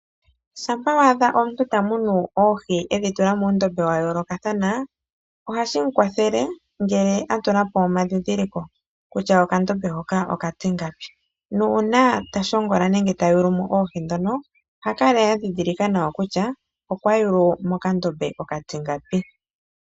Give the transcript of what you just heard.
Shampa waadha omuntu ta munu oohi edhi tula muundombe wa yoolokatha na, ohashi mu kwathele ngele atu la po omadhidhiliko kutya okandombe hoka okatingapi. Nuuna tashongola nenge ta yugu mo oohi dhoka, oha kala adhidhilika nawa kutya okwa yugu mokandombe oka tingapi.